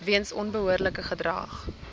weens onbehoorlike gedrag